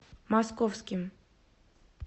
московским